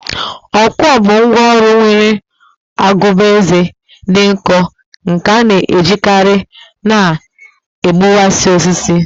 ọkwọ bụ ngwá ọrụ nwere agụba ezé dị nkọ nke a na-ejikarị na-egbuwasi osisi